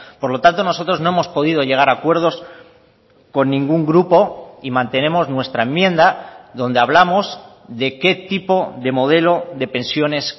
por lo tanto nosotros no hemos podido llegar a acuerdos con ningún grupo y mantenemos nuestra enmienda donde hablamos de qué tipo de modelo de pensiones